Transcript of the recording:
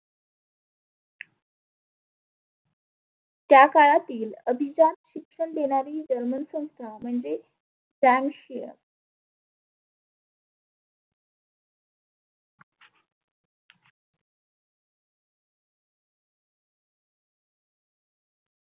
त्या काळातील अभीजात शिक्षण देणारी शिक्षण संस्था म्हणजे व्यांग शीया.